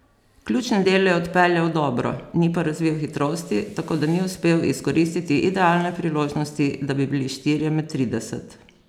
Ključne dele je odpeljal dobro, ni pa razvil hitrosti, tako da ni uspel izkoristiti idealne priložnosti, da bi bili štirje med trideset.